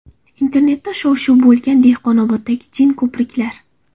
Internetda shov-shuv bo‘lgan Dehqonoboddagi jin ko‘priklar.